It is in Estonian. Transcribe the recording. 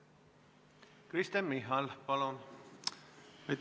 Kristen Michal, palun!